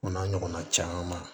O n'a ɲɔgɔnna caman